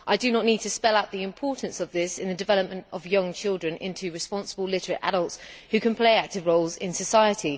I do not need to spell out the importance of this in the development of young children into responsible literate adults who can play active roles in society.